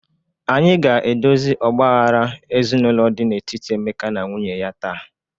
Anyị ga-edozi ọgba aghara ezinụlọ dị n'etiti Emeka na nwunye taa.